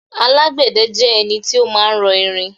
alágbède jẹ́ ẹni tí ó ma ń rọ irin